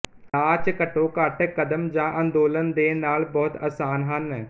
ਨਾਚ ਘੱਟੋ ਘੱਟ ਕਦਮ ਜਾਂ ਅੰਦੋਲਨ ਦੇ ਨਾਲ ਬਹੁਤ ਅਸਾਨ ਹਨ